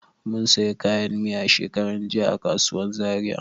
Mun sayi kayan miya shekaran jiya a kasuwan Zaria.